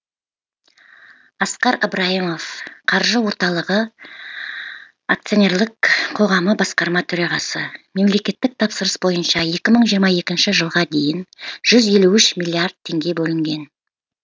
асқар ыбырайымов қаржы орталығы акционерлік қоғамы басқарма төрағасы мемлекеттік тапсырыс бойынша екі мың жиырма екінші жылға дейін жүз елу үш миллиард теңге бөлінген